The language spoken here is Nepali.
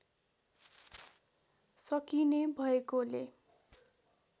सकिने भएकोले